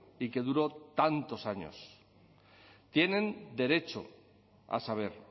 y que duró tantos años tienen derecho a saber